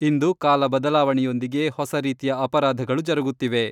ಇಂದು ಕಾಲ ಬದಲಾವಣೆಯೊಂದಿಗೆ ಹೊಸ ರೀತಿಯ ಅಪರಾಧಗಳು ಜರುಗುತ್ತಿವೆ.